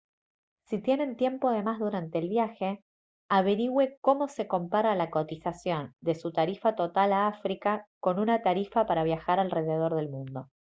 si tienen tiempo de más durante el viaje averigüe cómo se compara la cotización de su tarifa total a áfrica con una tarifa para viajar alrededor del mundo